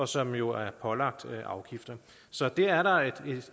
som jo er pålagt afgifter så det er